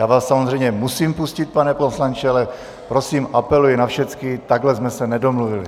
Já vás samozřejmě musím pustit, pane poslanče, ale prosím, apeluji na všecky: takhle jsme se nedomluvili.